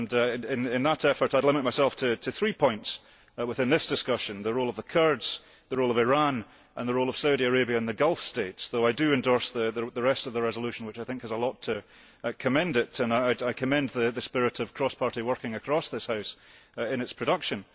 In that effort I will limit myself to three points within this discussion the role of the Kurds, the role of Iran and the role of Saudi Arabia and the Gulf States, though I do endorse the rest of the resolution, which I think has a lot to commend it and I commend the the spirit of cross party working across this House in its production.